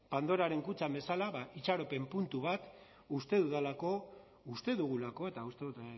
pandoraren kutxan bezala ba itxaropen puntu bat uste dudalako uste dugulako eta uste dut